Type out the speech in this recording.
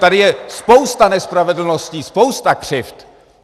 Tady je spousta nespravedlností, spousta křivd.